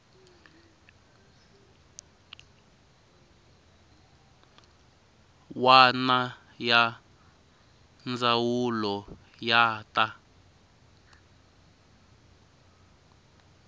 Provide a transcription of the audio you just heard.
wana ya ndzawulo ya ta